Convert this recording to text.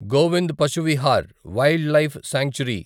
Govind Pashu Vihar wildlife sanctuary